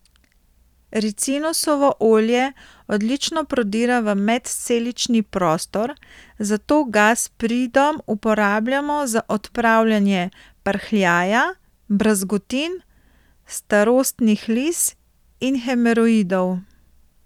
Ricinusovo olje odlično prodira v medcelični prostor, zato ga s pridom uporabljamo za odpravljanje prhljaja, brazgotin, starostnih lis in hemoroidov.